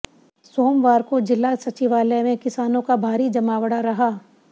सोमवार को जिला सचिवालय में किसानों का भारी जमावड़ा रहा